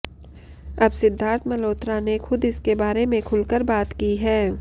अब सिद्धार्थ मल्होत्रा ने खुद इसके बारे में खुलकर बात की है